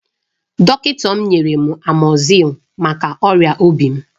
Dọkịta m nyere m amoxicillin maka ọrịa obi m.